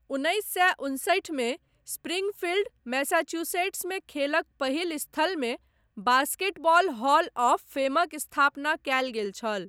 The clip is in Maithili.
उन्नैस सए उनसठिमे, स्प्रिंगफील्ड, मैसाचुसेट्समे खेलक पहिल स्थलमे बास्केटबॉल हॉल ऑफ फेमक स्थापना कयल गेल छल।